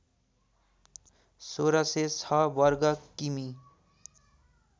१६०६ बर्ग किमि